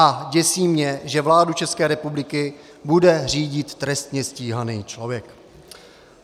A děsí mě, že vládu České republiky bude řídit trestně stíhaný člověk.